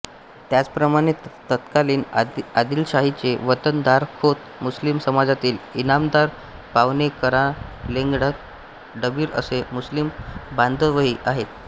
त्याचप्रमाणे तत्कालीन आदिलशाहीचे वतनदारखोत मुस्लिम समाजातील ईनामदार पावणेकवारेलान्डगे डबीर असे मुस्लिम बान्धवही आहेत